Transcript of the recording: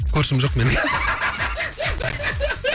көршім жоқ менің